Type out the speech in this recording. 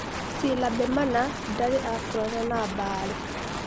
Silabemana ndarĩ akorana na Mbale.